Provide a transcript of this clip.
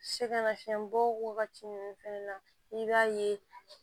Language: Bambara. Sɛgɛnnafiɲɛbɔ wagati ninnu fɛnɛ na i b'a ye